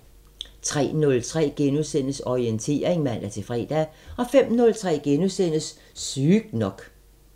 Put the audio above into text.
03:03: Orientering *(man-fre) 05:03: Sygt nok *